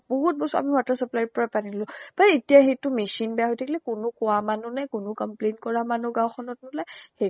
বহুত বছৰ আমি water supply ৰ পৰা পানী ললো। এতিয়া সেইটো machine বেয়া হৈ থাকিলে। কোনো কোৱা মানিহ নাই, কোনো complaint কৰা মানুহ গাওঁ খনত নুলায়। সেই